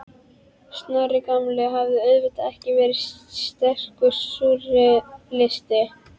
Snorri gamli hafði auðvitað ekki verið sterkur súrrealisti.